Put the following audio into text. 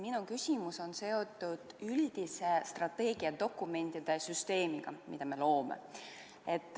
Minu küsimus on seotud üldise strateegiadokumentide süsteemiga, mida me loome.